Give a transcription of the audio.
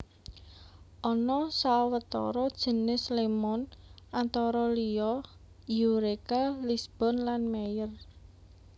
Ana sawetara jinis lémon antara liya Eureka Lisbon lan Meyer